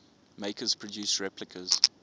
makers produce replicas